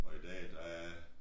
Og i dag der er